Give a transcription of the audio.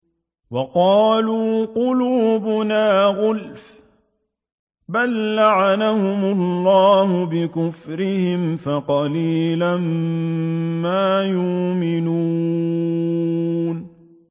وَقَالُوا قُلُوبُنَا غُلْفٌ ۚ بَل لَّعَنَهُمُ اللَّهُ بِكُفْرِهِمْ فَقَلِيلًا مَّا يُؤْمِنُونَ